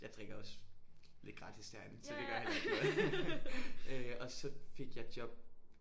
Jeg drikker også lidt gratis derinde så det gør heller ikke noget øh og så fik jeg job